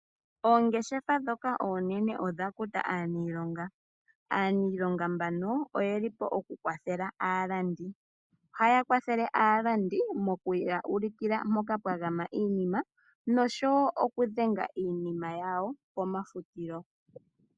Oongeshefa ndhoka oonene odha kuta aaniilonga. Aaniilonga mbano oye li po okukwathela aalandi. Ohaya kwathele aalandi moku ya ulukila mpoka pwa gama iinima, nosho wo okudhenga iinima yawo pomafutilo.